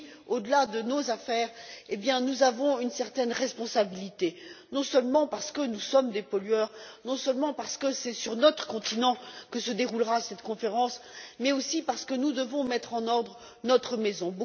Au delà de nos affaires, nous avons une certaine responsabilité, non seulement parce que nous sommes des pollueurs, non seulement parce que c'est sur notre continent que se déroulera cette conférence, mais aussi parce que nous devons mettre en ordre notre maison.